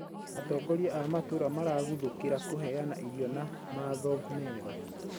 Atongoria a matũra maraguthũkira kũheana irio na matho mega